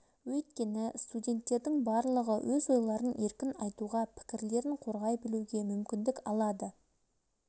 өйткені студенттердің барлығы өз ойларын еркін айтуға пікірлерін қорғай білуге мүмкіндік алады